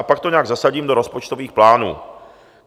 A pak to nějak zasadím do rozpočtových plánů.